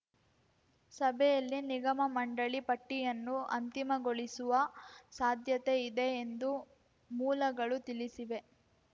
ಸಭೆಯಲ್ಲಿ ನಿಗಮಮಂಡಳಿ ಪಟ್ಟಿಯನ್ನು ಅಂತಿಮಗೊಳಿಸುವ ಸಾಧ್ಯತೆ ಇದೆ ಎಂದು ಮೂಲಗಳು ತಿಳಿಸಿವೆ